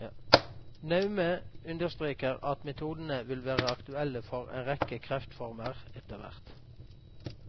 Naume understreker at metodene vil være aktuelle for en rekke kreftformer etterhvert.